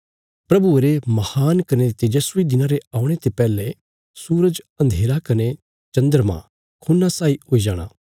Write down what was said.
प्रभुये रे महान कने तेजस्वी दिना रे औणे ते पैहले सूरज अन्धेरा कने चन्द्रमा खून्ना साई हुई जाणा